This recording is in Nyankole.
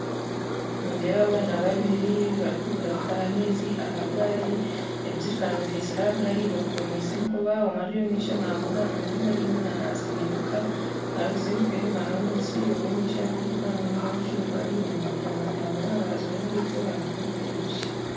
Nindeeba abaana babiri barikuruga kutaha amaizi aha gaari ebijerikani babiheekire aha gaari babikomeise enkoba omwe ari omu maisho naavuga ondijo ari enyima natsindika orikutsindika enyima n'omwishiki ow'omumaisho orikuvuga n'omwojo bari omu nguuto nibatambura aha rubaju rw'enguuto hariho ebishaka